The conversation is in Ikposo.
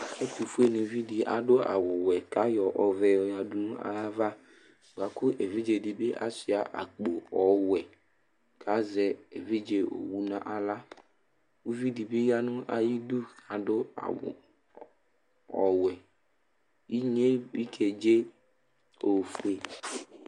Ɛtʋfuenɩvi dɩ adʋ awʋwɛ kʋ ayɔ ɔvɛ yɔyǝdu nʋ ayava bʋa kʋ evidze dɩ asʋɩa akpo ɔwɛ kʋ azɛ evidze owu nʋ aɣla Uvi dɩ bɩ ya nʋ ayidu Adʋ awʋ ɔwɛ Inye bɩ kedze ofue